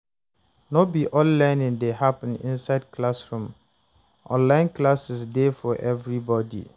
No be all learning dey happen inside classroom; online classes dey for everybody.